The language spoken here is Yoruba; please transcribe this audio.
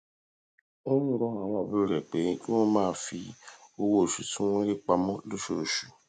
ó ń rọ àwọn àbúrò rè pé kí wón máa fi owó oṣù tí wón ń rí pa mó lóṣooṣù